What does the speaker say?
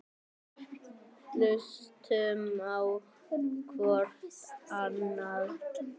Hlustum á hvort annað.